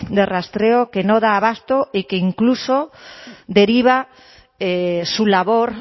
de rastreo que no da abasto y que incluso deriva su labor